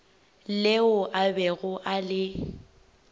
leo a bego a le